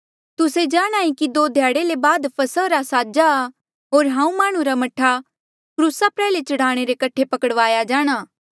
तुस्से जाणहां ऐें कि दो ध्याड़े ले बाद फसहा रा साजा आ होर माह्णुं रा मह्ठा क्रूसा प्रयाल्हे चढ़ाणे रे कठे पकड़ाया जाणा